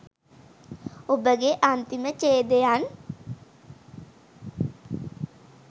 ඔබගේ අන්තිම ඡේදයන්